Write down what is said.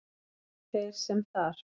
Þeir sem þar